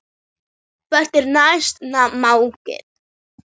Hvað er næsta markmið?